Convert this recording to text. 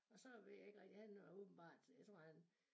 Og så ved jeg ikke rigtigt han er åbenbart jeg tror han